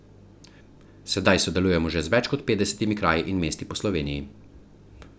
Sedaj sodelujemo že z več kot petdesetimi kraji in mesti po Sloveniji.